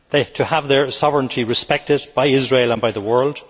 to have their sovereignty respected by Israel and by the world